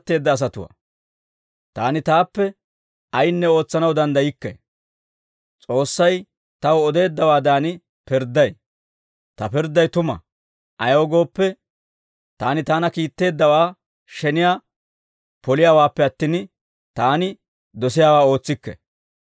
«Taani taappe ayinne ootsanaw danddaykke; S'oossay taw odeeddawaadan pirdday. Ta pirdday tuma; ayaw gooppe, taani taana kiitteeddawaa sheniyaa poliyaawaappe attin, taani dosiyaawaa ootsikke.